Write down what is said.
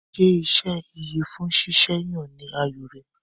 Ṣé iṣẹ́ ìyẹ̀fun ṣíṣe yàn ni àyò rẹ?